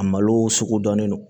A malo sugu dɔnnen don